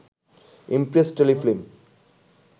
Impress Telefilm